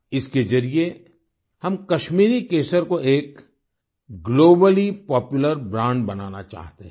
इसके जरिए हम कश्मीरी केसर को एक ग्लोबली पॉपुलर ब्रांड बनाना चाहते हैं